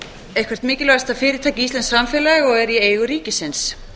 eitthvert mikilvægasta fyrirtæki íslensks samfélags og er í eigu ríkisins